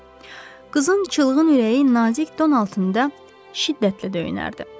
Qızın çılğın ürəyi nazik don altında şiddətlə döyünərdi.